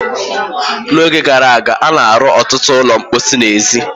N'oge gara aga, a na-arụ ọtụtụ ụlọ mposi n'èzí.